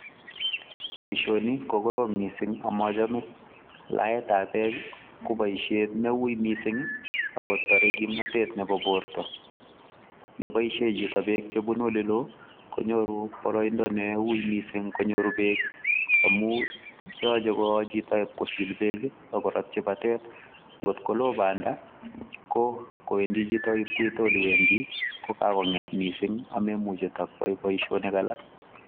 Boishoni kokorom mising amachome. laetab bek ko boishet neui mising agotarei kimnatet nebo borto. Yeboishe chito bek chebunu oleloo konyoru boroiindo neui mising konyoru bek amun yochei kosil bek AK koratchi natet. Ngot koloo Banda ko kowendi chito ib koiteiole Wendi kokakomget mising amemuche takoyai boishonik alak